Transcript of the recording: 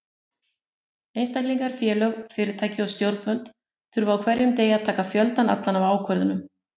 Einstaklingar, félög, fyrirtæki og stjórnvöld þurfa á hverjum degi að taka fjöldann allan af ákvörðunum.